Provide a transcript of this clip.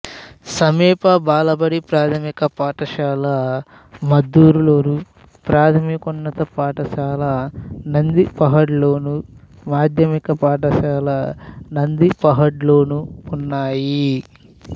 సమీప బాలబడి ప్రాథమిక పాఠశాల మద్దూరులోను ప్రాథమికోన్నత పాఠశాల నందిపహాడ్లోను మాధ్యమిక పాఠశాల నందిపహాడ్లోనూ ఉన్నాయి